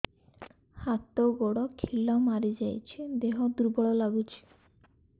ହାତ ଗୋଡ ଖିଲା ମାରିଯାଉଛି ଦେହ ଦୁର୍ବଳ ଲାଗୁଚି